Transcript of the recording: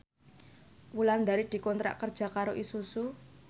Wulandari dikontrak kerja karo Isuzu